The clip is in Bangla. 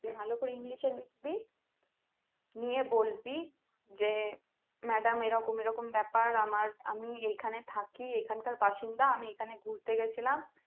ভালো করে english এ লিখবি নিয়ে বলবি যে madam এরকম এরকম ব্যাপার আমার আমি এখানে থাকি এখানকার বাসিন্দা আমি এখানে ঘুরতে গেছিলাম।